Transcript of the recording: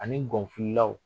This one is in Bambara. Ani gɔn fililaw.